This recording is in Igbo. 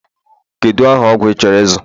Kedu aha ọgwụ ị chọrọ ịzụ?